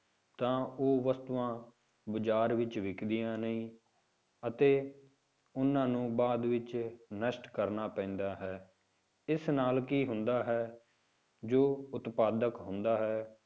ਤਾਂ ਉਹ ਵਸਤੂਆਂ ਬਾਜ਼ਾਰ ਵਿੱਚ ਵਿੱਕਦੀਆਂ ਨਹੀਂ ਅਤੇ ਉਹਨਾਂ ਨੂੰ ਬਾਅਦ ਵਿੱਚ ਨਸ਼ਟ ਕਰਨਾ ਪੈਂਦਾ ਹੈ, ਇਸ ਨਾਲ ਕੀ ਹੁੰਦਾ ਹੈ ਜੋ ਉਤਪਾਦਕ ਹੁੰਦਾ ਹੈ,